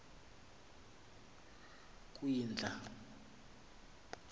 kwindla